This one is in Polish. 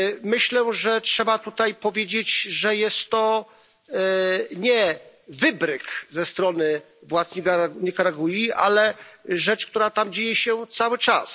Myślę, że trzeba tutaj powiedzieć, że to nie jest wybryk ze strony władz Nikaragui, ale rzecz, która tam dzieje się cały czas.